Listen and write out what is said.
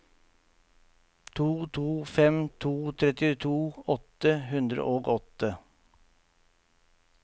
to to fem to trettito åtte hundre og åtte